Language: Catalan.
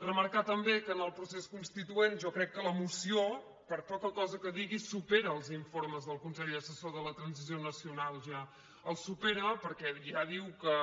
remarcar també que en el procés constituent jo crec que la moció per poca cosa que digui supera els in·formes del consell assessor de la transició nacional ja el supera perquè ja diu que